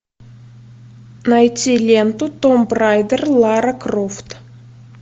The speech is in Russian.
найти ленту том райдер лара крофт